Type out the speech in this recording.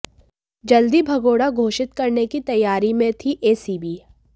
जल्द ही भगोड़ा घोषित करने की तैयारी में थी एसीबी